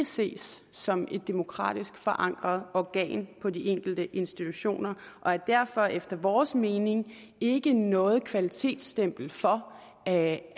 ses som et demokratisk forankret organ på de enkelte institutioner og derfor efter vores mening ikke er noget kvalitetsstempel for at